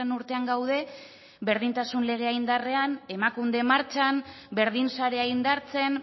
urtean gaude berdintasun legea indarrean emakunde martxan berdin sarea indartzen